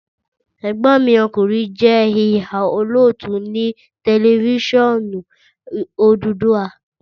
Ẹ̀gbọ́n mi ọkùnrin je ìhà - òlótú ni tẹlifiṣionu Odùduwà